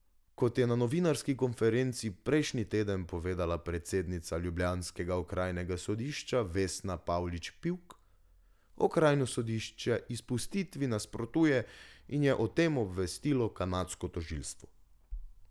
Kot je na novinarski konferenci prejšnji teden povedala predsednica ljubljanskega okrajnega sodišča Vesna Pavlič Pivk, okrajno sodišče izpustitvi nasprotuje in je o tem obvestilo kanadsko tožilstvo.